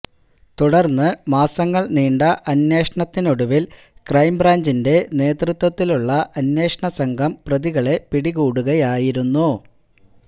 തുടര്ന്ന് മാസങ്ങള് നീണ്ട അന്വേഷണത്തിനൊടുവില് ക്രൈംബ്രാഞ്ചിന്റെ നേതൃത്വത്തിലുള്ള അന്വേഷണ സംഘം പ്രതികളെ പിടികൂടുകയായിരുന്നു